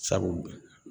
Sabu